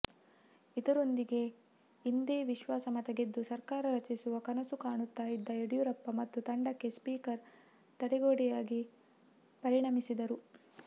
ಇದರೊಂದಿಗೆ ಇಂದೇ ವಿಶ್ವಾಸಮತ ಗೆದ್ದು ಸರ್ಕಾರ ರಚಿಸುವ ಕನಸು ಕಾಣುತ್ತ ಇದ್ದ ಯಡಿಯುರಪ್ಪ ಮತ್ತು ತಂಡಕ್ಕೆ ಸ್ಪೀಕರ್ ತಡೆಗೋಡೆಯಾಗಿ ಪರಿಣಮಿಸಿದರು